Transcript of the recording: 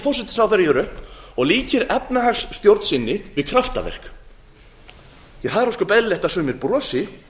forsætisráðherra hér upp og líkir efnahagsstjórn sinni við kraftaverk það er ósköp eðlilegt að sumir brosi